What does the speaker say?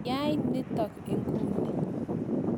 Yai nitok inguni !